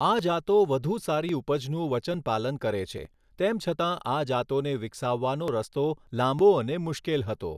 આ જાતો વધુ સારી ઉપજનું વચન પાલન કરે છે, તેમ છતાં આ જાતોને વિકાસાવવાનો રસ્તો લાંબો અને મુશ્કેલ હતો.